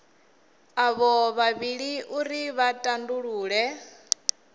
avho vhavhili uri vha tandulule